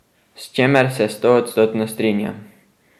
S čemer se stoodstotno strinjam.